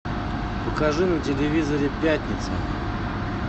покажи на телевизоре пятница